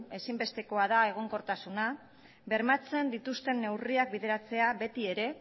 ezinbestekoa da egonkortasuna bermatzen dituzten neurriak bideratzea beti ere